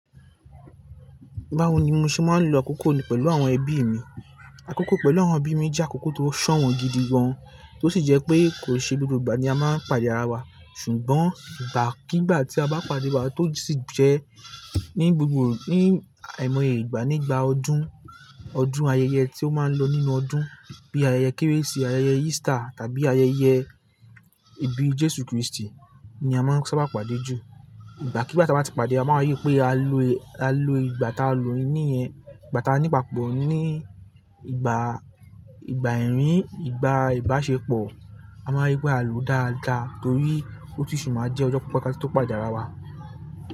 Báwo ni mo ṣe máa ń lo àkókò mi pẹ̀lú àwọn ẹbí mi? Àkókò pẹ̀lú àwọn ẹbí mi jẹ́ àkókò tó ṣọ̀wọ́n gidi gán, tó sì jẹ́ pé kò ṣe gbogbo ìgbà ni a máa ń pàdé ara wa, ṣùgbọ́n ìgbàkígbà tí a bá pàdé wa, tó sì jẹ ní gbogbo ní àìmọye ìgbà nígbà ọdún, ọdún ayẹyẹ tí ó máa ń lọ nínú ọdún bíi ayẹyẹ Kérésìmesì, ayẹyẹ Easter tàbí ayẹyẹ ìbí Jésù Kristi ni a máa ń sábà pàdé jù. Ìgbàkígbà tí a bá ti pàdé, a máa rí i pé à lo, à lo ìgbà táa lo ìníyẹn, ìgbà táa ni ìpapọ̀ ní ìgbà, ìgbà ẹ̀rín, ìgbà ìbáṣepọ̀, a máa rí i pé à lò dáadáa torí ó tù sì máa jẹ́ ọjọ́ pípẹ́ ká tù tọ pàdé ara wa.